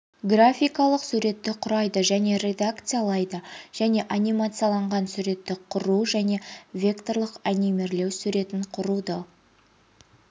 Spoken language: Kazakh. графикалық суретті құрайды және редакциялайды және анимацияланған суретті құру және векторлық анимирлеу суретін құруды